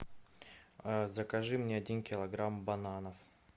закажи мне один килограмм бананов